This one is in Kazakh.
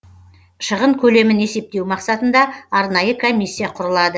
шығын көлемін есептеу мақсатында арнайы комиссия құрылады